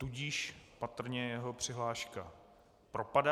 Tudíž patrně jeho přihláška propadá.